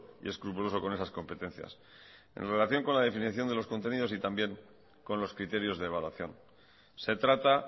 y escrupuloso con esas competencias en relación con la definición de los contenidos y también con los criterios de evaluación se trata